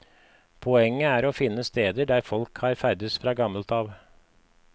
Poenget er å finne steder der folk har ferdes fra gammelt av.